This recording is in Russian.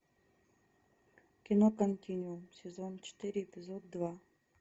кино континуум сезон четыре эпизод два